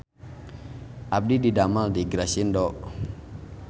Abdi didamel di Grasindo